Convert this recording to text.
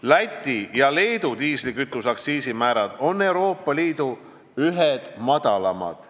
Läti ja Leedu diislikütuse aktsiisi määrad on Euroopa Liidu ühed madalamad.